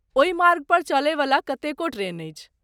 ओही मार्गपर चलयवला कतेको ट्रेन अछि।